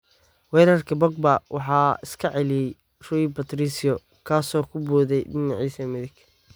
Weerarkii Pogba waxaa iska celiyay Rui Patricio, kaasoo ku booday dhiniciisa midig.